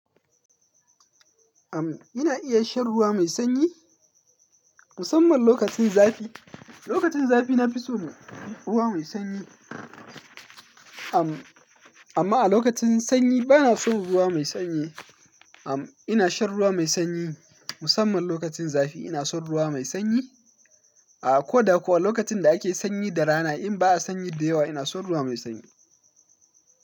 Am, ina iya shan ruwa mai sanyi, musamman lokacin zafi. Lokacin zafi na fi son ruwa mai sanyi. Am, amma a lokacin sanyi bana son ruwa mai sanyi. Am, ina shan ruwa mai sanyi musamman lokacin zafi ina son ruwa mai sanyi. A ko da kuwa lokacin da ake sanyi da rana, in ba a sanyi da yawa ina son ruwa mai sanyi.